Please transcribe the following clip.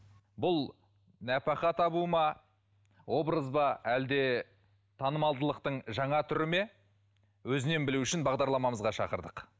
бұл нәпақа табу ма образ ба әлде танымалдылықтың жаңа түрі ме өзінен білу үшін бағдарламамызға шақырдық